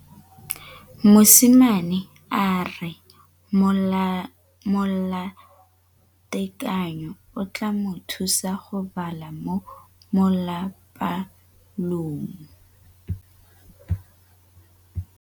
Mosimane a re molatekanyô o tla mo thusa go bala mo molapalong.